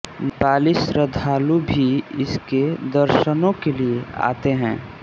नेपाली श्रद्धालु भी इसके दर्शनों के लिए आते हैं